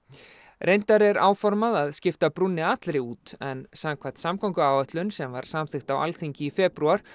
reyndar er áformað að skipta brúnni allri út en samkvæmt samgönguáætlun sem var samþykkt á Alþingi í febrúar